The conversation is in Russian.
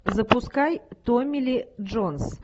запускай томми ли джонс